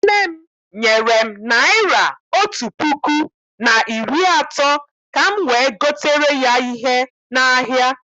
Nne m nyere m naịra otú puku na iri atọ ka m wee gotere ya ihe n'ahịa.